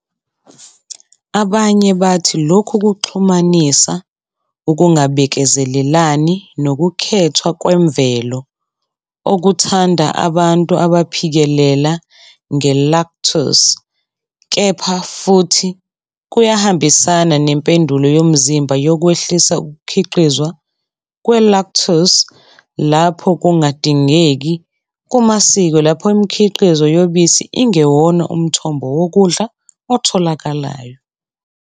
Abanye bathi lokhu kuxhumanisa ukungabekezelelani nokukhethwa kwemvelo okuthanda abantu abaphikelela nge-lactase, kepha futhi kuyahambisana nempendulo yomzimba yokwehlisa ukukhiqizwa kwe-lactase lapho kungadingeki kumasiko lapho imikhiqizo yobisi ingewona umthombo wokudla otholakalayo.